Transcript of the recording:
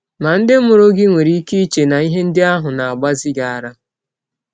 Ma, ndị mụrụ gị nwere ike iche na ihe ndị ahụ na - agbazi gị ara.